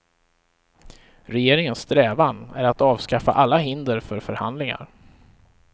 Regeringens strävan är att avskaffa alla hinder för förhandlingar.